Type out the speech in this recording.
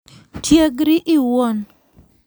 Tiegri iwuon.